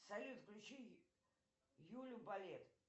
салют включи юлю балет